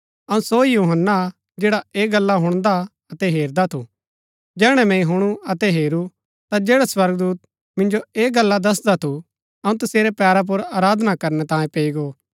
अऊँ सो ही यूहन्‍ना हा जैडा ऐह गल्ला हुणदा अतै हेरदा थू जैहणै मैंई हुणु अतै हेरू ता जैडा स्वर्गदूत मिन्जो ऐह गल्ला दसदा थू अऊँ तसेरै पैरा पुर आराधना करनै तांयें पैई गो